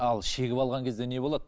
ал шегіп алған кезде не болады